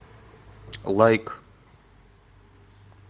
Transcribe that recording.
лайк